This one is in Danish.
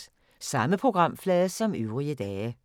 Samme programflade som øvrige dage